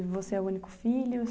E você é o único filho?